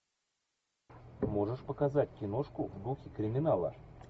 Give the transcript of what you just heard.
ты можешь показать киношку в духе криминала